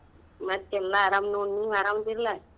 ಮತ್ತೆಲ್ಲಾ ಆರಾಮ್ ನೋಡ್ ನೀವ್ ಆರಾಮದಿರ್ಲಾ?